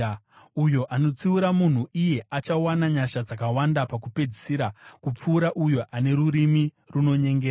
Uyo anotsiura munhu iye achawana nyasha dzakawanda pakupedzisira, kupfuura uyo ane rurimi runonyengera.